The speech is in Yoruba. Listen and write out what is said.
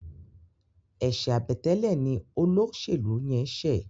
eṣe Àbẹ̀tẹ́lẹ̀ ní Olóṣèlú yén ṣe